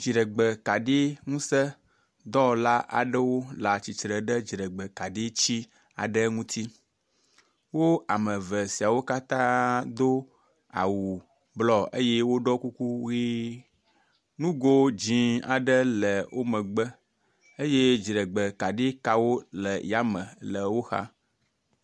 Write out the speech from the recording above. Dziɖegbekaɖi ŋuse dɔwɔla aɖewo le atsitre ɖe dziɖegbekaɖitsi aɖe ŋuti, wó amevesiawo katã do awu blɔ eyɛ woɖɔ kuku ɣi, nugo dzĩ aɖe le wó megbe eyɛ dziɖegbekaɖikawo le yame le wóxa